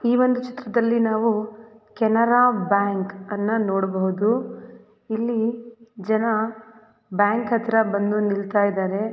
ಈ ಒಂದು ಚಿತ್ರದಲ್ಲಿ ನಾವು ಕೆನರಾ ಬ್ಯಾಂಕ್ ಅನ್ನು ನೋಡಬಹುದು ಇಲ್ಲಿ ಜನ ಬಂದು ನಿಲ್ತಹಿದರೆ--